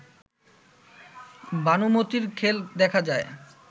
ভানুমতীর খেল দেখা যায়